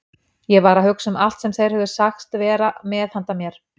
Ég var að hugsa um allt sem þeir höfðu sagst vera með handa mér.